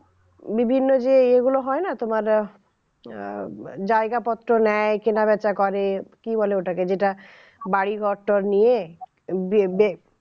বিভিন্ন যে এগুলো হয় না তোমার আহ জায়গা পত্র নেই কেনাবেচা করে কি বলে ওটাকে যেটা বাড়ি ঘর টর নিয়ে বিয়ে বে